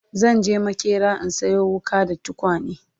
zanje maƙera in Sayo wuƙa da tukwane